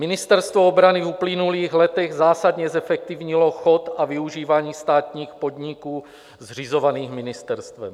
Ministerstvo obrany v uplynulých letech zásadně zefektivnilo chod a využívání státních podniků zřizovaných ministerstvem.